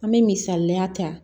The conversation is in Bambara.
An bɛ misaliya ta